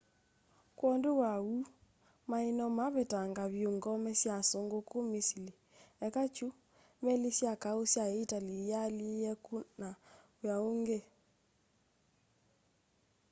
kwondu wa uu mai no mavetangaa vyu ngome sya asungu ku misili eka kiu meli sya kau sya itali iyaaile ukuna wia ungi